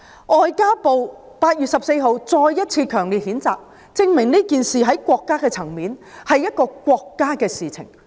外交部在8月14日再次強烈譴責，證明此事從國家的層面來看，是國家的事情。